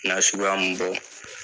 Na suguya mun bɔ